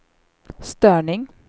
störning